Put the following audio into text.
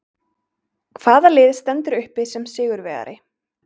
Hvaða lið stendur uppi sem sigurvegari?